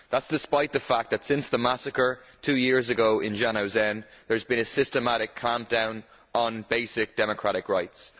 That is despite the fact that, since the massacre two years ago in Zhanaozen, there has been a systematic clampdown on basic democratic rights.